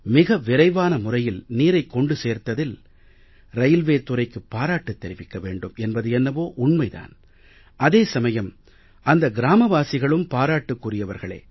மிக விரைவான முறையில் நீரைக் கொண்டு சேர்த்ததில் ரயில்வே துறைக்கு பாராட்டுத் தெரிவிக்க வேண்டும் என்பது என்னவோ உண்மை தான் அதே சமயம் அந்த கிராமவாசிகளும் பாராட்டுக்குரியவர்களே